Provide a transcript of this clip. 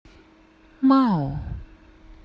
мау